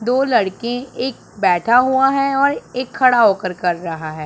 दो लड़के एक बैठा हुआ है और एक खड़ा होकर कर रहा है।